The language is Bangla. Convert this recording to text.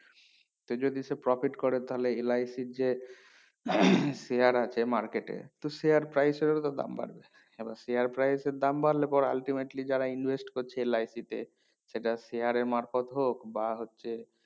সে যদি সে profit করে তাহলে LIC যে share আছে market এ তো share price এর ও তো দাম বাড়বে মানে share price এর দাম বাড়লে পরে ultimately যারা invest করছে LIC তে সেটা share এর মারফত হোক বা হচ্ছে